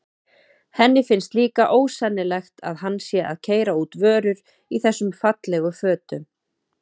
Henni finnst líka ósennilegt að hann sé að keyra út vörur í þessum fallegu fötum.